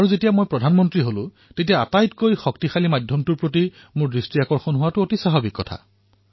যেতিয়া মই প্ৰধানমন্ত্ৰী হলো তেতিয়া সকলোতকৈ শক্তিশালী মাধ্যমৰ প্ৰতি মোৰ চকু পৰাটো স্বাভাৱিক আছিল